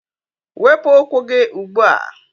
Wepụ ụkwụ gị ugbu a!